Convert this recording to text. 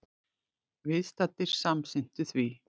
Viðstaddir samsinntu því.